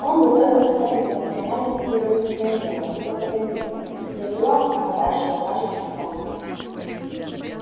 он готовил отряды профессиональных революционеров и пропагандистов засылал их подальше во вражий стан